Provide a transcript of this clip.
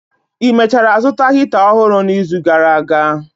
Ị mechara zụta Hita ọhụrụ n'izu gara aga?